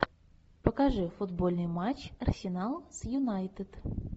покажи футбольный матч арсенал с юнайтед